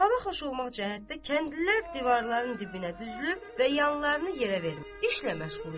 Hava xoş olmaq cəhətdən kəndlilər divarların dibinə düzülüb və yanlarını yerə verib işlə məşğul idi.